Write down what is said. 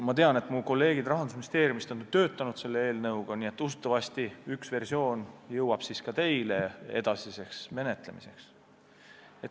Ma tean, et mu kolleegid Rahandusministeeriumist on eelnõu kallal töötanud, usutavasti üks versioon jõuab ka teie kätte edasiseks menetlemiseks.